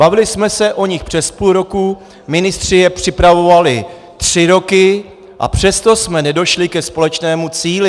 Bavili jsme se o nich přes půl roku, ministři je připravovali tři roky, a přesto jsme nedošli ke společnému cíli.